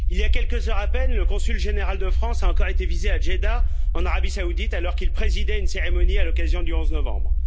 Il y a quelques heures à peine, le consul général de France a encore été visé à Djeddah, en Arabie saoudite, alors qu'il présidait une cérémonie à l'occasion du 11 novembre.